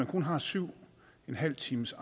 kun har syv en halv times